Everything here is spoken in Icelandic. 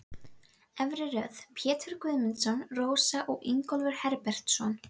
Efri röð: Pétur Guðmundsson, Rósa og Ingólfur Herbertsson.